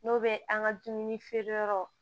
N'o bɛ an ka dumuni feere yɔrɔw